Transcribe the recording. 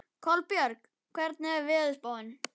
Kolbjörg, hvernig er veðurspáin?